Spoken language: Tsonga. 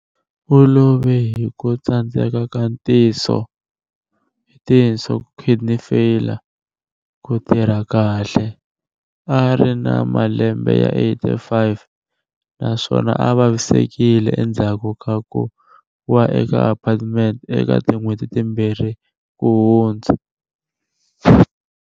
U love hi ku tsandzeka ka tinso kidney failure ku tirha kahle, a a ri na malembe ya 85 na swona a a vavisekile endzhaku ka ku wa eka apartment eka tin'hweti timbirhi ku hundza.